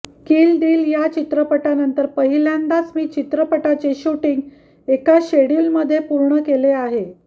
किल दिल या चित्रपटानंतर पहिल्यांदाच मी चित्रपटाचे शूटींग एका शेड्युलमध्ये पूर्ण केले आहे